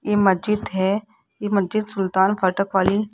ये मस्जिद है ये मस्जिद सुल्तान फाटक वाली--